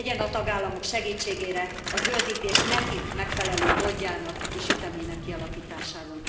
Legyen a tagállamok segítségére a zöldítés nekik megfelelő módjának és ütemének kialakításában.